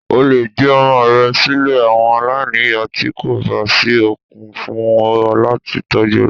O lè gbé ọmọ rẹ sílè àwọn aláìníyà tí kò bá sí okun fún ọ láti tọ́jú rẹ.